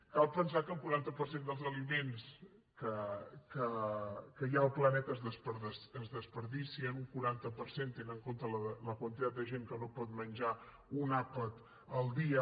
cal pensar que el quaranta per cent dels aliments que hi ha al planeta es malbaraten un quaranta per cent tenint en compte la quantitat de gent que no pot menjar un àpat al dia